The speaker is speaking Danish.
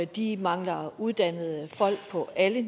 de mangler uddannede folk på alle